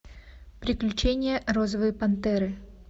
приключения розовой пантеры